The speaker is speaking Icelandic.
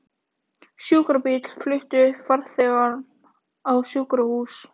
Sjúkrabíll flutti farþegann á sjúkrahús